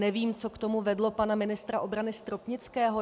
Nevím, co k tomu vedlo pana ministra obrany Stropnického.